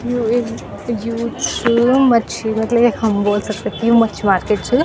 यु एक जू छ मच्छी बदले हम बोल सक्दा की वो मच्छी मार्किट च।